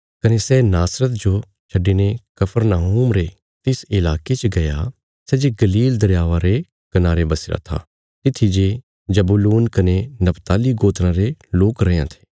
कने सै नासरत जो छड्डिने कफरनहूम रे तिस इलाके च गया सै जे गलील दरयावा रे कनारे बसीरा था तित्थी जे जबूलून कने नप्ताली गोत्राँ रे लोक रैयां थे